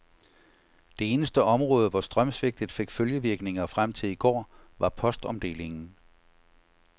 Det eneste område, hvor strømsvigtet fik følgevirkninger frem til i går, var postomdelingen.